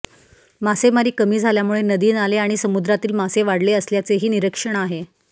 मासेमारी कमी झाल्यामुळे नदी नाले आणि समुद्रातील मासे वाढले असल्याचेही निरीक्षण आहे